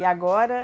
E agora?